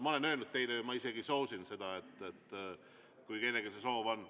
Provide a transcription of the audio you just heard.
Ma olen teile öelnud, ma isegi soosin seda, kui kellelgi see soov on.